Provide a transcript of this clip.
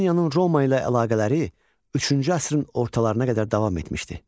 Albaniyanın Roma ilə əlaqələri üçüncü əsrin ortalarına qədər davam etmişdi.